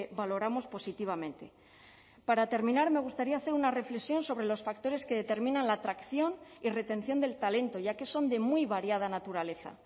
valoramos positivamente para terminar me gustaría hacer una reflexión sobre los factores que determinan la atracción y retención del talento ya que son de muy variada naturaleza